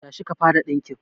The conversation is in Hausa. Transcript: Tashi ki fara dinkin